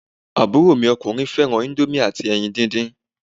Àbúrò mi ọkùnrin fẹ́ràn íńdómì àti ẹyin dídín.